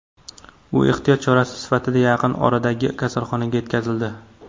U ehtiyot chorasi sifatida yaqin oradagi kasalxonaga yetkazildi.